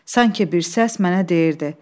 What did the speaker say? Sanki bir səs mənə deyirdi: